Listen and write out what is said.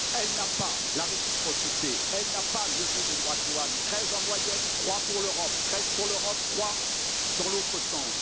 Elle n'applique pas la réciprocité, elle n'a pas levé les droits de douane, treize en moyenne trois pour l'Europe, treize pour l'Europe, trois dans l'autre sens.